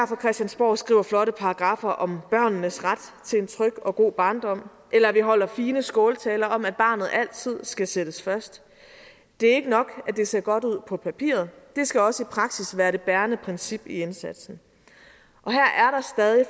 fra christiansborg skriver flotte paragraffer om børnenes ret til en tryg og god barndom eller at vi holder fine skåltaler om at barnet altid skal sættes først det er ikke nok at det ser godt ud på papiret det skal også i praksis være det bærende princip i indsatsen